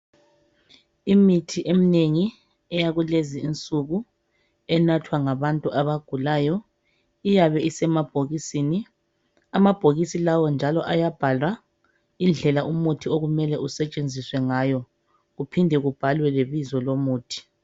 imithi eminengi eyakulezi insuku enathwa ngabantu abagulayo iyabe isemabhokisini amabhokisi lawa njalo ayabhalwa indlela umuthi okumele asetshenziswe ngayo iphinde ibhalwe lebizo lomuthi